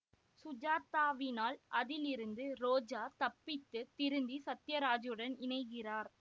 சுஜாதாவினால் அதிலிருந்து ரோஜா தப்பித்துத் திருந்தி சத்தியராஜுடன் இணைகிறார்